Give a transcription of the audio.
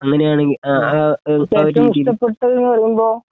അങ്ങനെയാണെങ്കി ആ ആ ഉം അതിൻ്റെ രുചി